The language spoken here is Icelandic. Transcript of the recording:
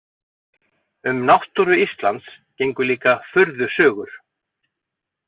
Um náttúru Íslands gengu líka furðusögur.